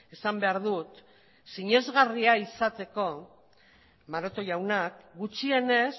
esan behar dut sinesgarria izateko maroto jaunak gutxienez